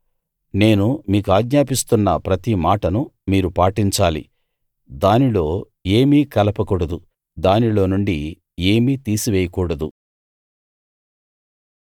నేను మీకాజ్ఞాపిస్తున్న ప్రతి మాటను మీరు పాటించాలి దానిలో ఏమీ కలపకూడదు దానిలో నుండి ఏమీ తీసివేయకూడదు